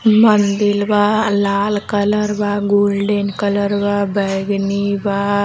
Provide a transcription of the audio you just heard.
मंदिल बा लाल कलर बा गोल्डन कलर बा बैगीनी बा।